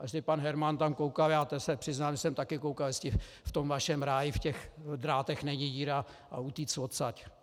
A jestli pan Herman tam koukal, já se přiznám, že jsem taky koukal, jestli v tom vašem ráji, v těch drátech není díra, a utéct odtud.